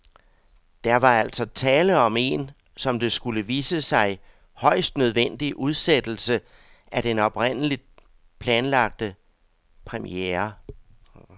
Der var altså tale om en, som det skulle vise sig, højst nødvendig udsættelse af den oprindeligt fastlagte premiere.